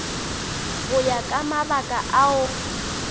go ya ka mabaka ao